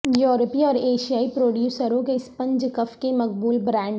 یورپی اور ایشیائی پروڈیوسروں کے اسپنج کف کے مقبول برانڈ